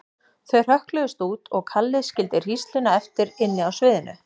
Þau hrökkluðust út og Kalli skildi hrísluna eftir inni á sviðinu.